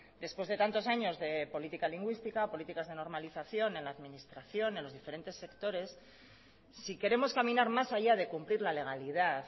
después de tantos años de política lingüística políticas de normalización en la administración en los diferentes sectores si queremos caminar más allá de cumplir la legalidad